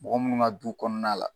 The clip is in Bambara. Mɔgɔ munnu ka du kɔnɔna la